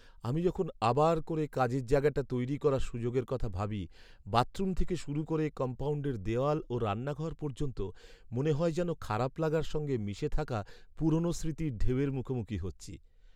আমি যখন আবার করে কাজের জায়গাটা তৈরি করার সুযোগের কথা ভাবি, বাথরুম থেকে শুরু করে কম্পাউণ্ডের দেয়াল ও রান্নাঘর পর্যন্ত, মনে হয় যেন খারাপ লাগার সঙ্গে মিশে থাকা পুরনো স্মৃতির ঢেউয়ের মুখোমুখি হচ্ছি।